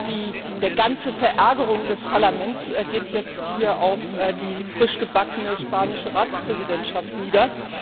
Die ganze Verärgerung des Parlaments geht jetzt auf die frischgebackene spanische Ratspräsidentschaft nieder.